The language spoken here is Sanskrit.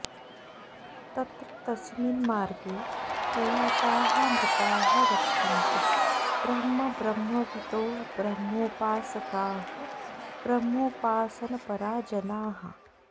तत्र तस्मिन् मार्गे प्रयाताः मृताः गच्छन्ति ब्रह्म ब्रह्मविदो ब्रह्मोपासकाः ब्रह्मोपासनपरा जनाः